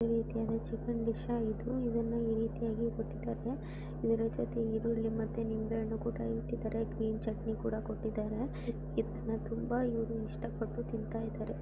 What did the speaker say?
ಈ ರೀತಿಯಾದ chicken dish ಆಗಿದ್ದು ಇದನ್ನು ಈ ರೀತಿಯಾಗಿ ಕೊಟ್ಟಿದ್ದಾರೆ ಇದರ ಜೊತೆ ಈರುಳ್ಳಿ ಮತೆ ನಿಂಬೆ ಹಣ್ಣು ಕೂಡ ಇಟ್ಟಿದ್ದಾರೆ ಗ್ರೀನ್ ಚಟ್ನಿ ಕೂಡ ಕೊಟ್ಟಿದ್ದಾರೆ ಇದನ್ನ ತುಂಬಾ ಇವರು ಇಷ್ಟ ಪಟ್ಟು ತಿಂತಿದ್ದಾರೆ.